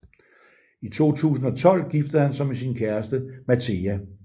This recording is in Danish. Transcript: I 2012 giftede han sig med sin kæreste Mateja